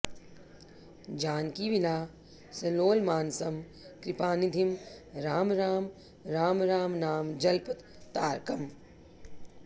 जानकीविलासलोलमानसं कृपानिधिं राम राम राम रामनाम जल्प तारकम्